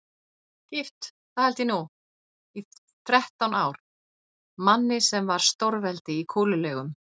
Gift, það held ég nú, í þrettán ár, manni sem var stórveldi í kúlulegum.